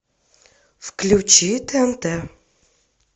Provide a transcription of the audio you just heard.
включи тнт